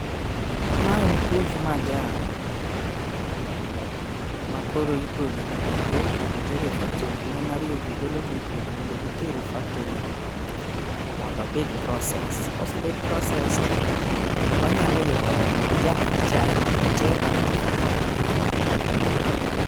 Ma en puoth majan makoro igole puodho mondo oter e factory. Mon ariyo go golo gie puodho modo giter e factory mondo obed processed. Kosebed processed wanyalo yudo majan mar katepa kata fahari kae.